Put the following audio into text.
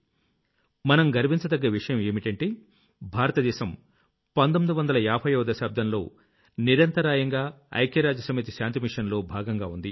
మనం గర్వించదగ్గ విషయం ఏంటంటే భారతదేశం 1950వ దశాబ్దంలో నిరంతరాయంగా ఐక్యరాజ్య సమితి శాంతి మిషన్ లో భాగంగా ఉంది